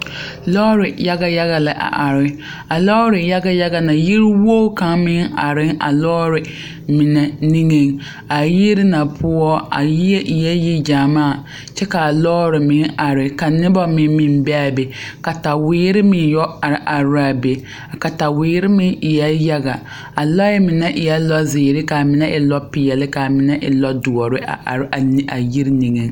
Lɔɔre yaɡa yaɡa la a are a lɔɔre yaɡa yaɡa na yiwoɡi kaŋa meŋ are a lɔɔre mine niŋeŋ a yiri na poɔ a yie eɛ yiɡyamaa kyɛ ka a lɔɔre meŋ are ka noba meŋ meŋ be a be kataweere meŋ yɔ are are la a be a kataweere meŋ eɛ yaɡa a lɔɛ mine eɛ lɔziiri ka a mine e lɔpeɛle ka a mine e lɔdoɔre a are a yiri niŋeŋ